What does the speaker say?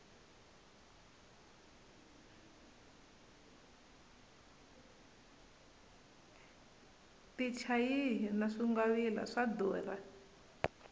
tichayihi na swingwavila swa durha